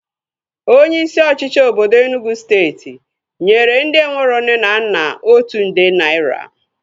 Onye isi ọchịchị obodo Enugwu steeti nyere ndị enwero nne na nna otu nde naira